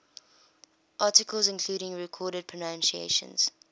articles including recorded pronunciations